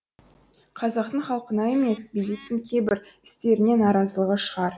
қазақтың халқына емес биліктің кейбір істеріне наразылығы шығар